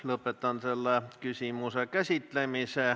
Lõpetan selle küsimuse käsitlemise.